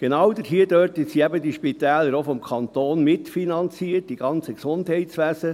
Genau dort sind diese Spitäler eben vom Kanton auch mitfinanziert, die ganzen Gesundheitswesen.